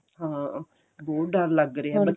ਹਾਂ ਬਹੁਤ ਡਰ ਲੱਗ ਰਿਹਾ